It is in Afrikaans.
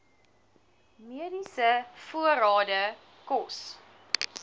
mediese voorrade kos